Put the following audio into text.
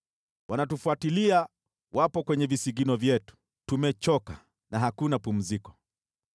Wanaotufuatilia wapo kwenye visigino vyetu, tumechoka na hakuna pumziko.